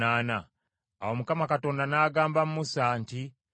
Awo Mukama Katonda n’agamba Musa nti,